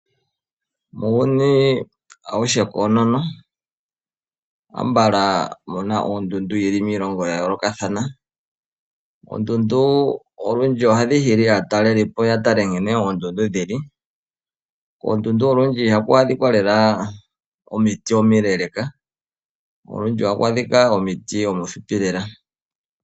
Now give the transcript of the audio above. Muuyuni awuhe koonono ambala muna oondundu dhili miilongo ya yolokathana. Oondundu olundji ohadhi hili aatalelipo yeye yatale oondundu nkene dhili. Kondundu olundji ihaku adhika omiiti omileeleka olundji ohaku adhika omiiti omihupi elela.